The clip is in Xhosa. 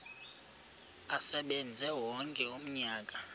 asebenze wonke umnyaka